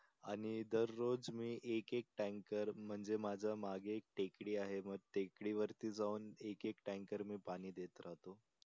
आणि दररोज मी एक एक टँकर म्हणजे मी मागे टेकडी आहे मग टेकडी वरती जाऊन एक एक टँकर मी पाणी देत राहतो.